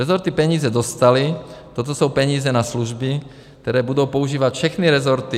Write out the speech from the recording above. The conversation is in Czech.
Rezorty peníze dostaly, toto jsou peníze na služby, které budou používat všechny rezorty.